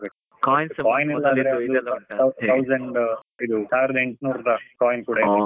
thousand , ಸಾವಿರ್ದಾ ಎಂಟನೂರುದಷ್ಟು coins ಕೂಡಾ ಇದೆ.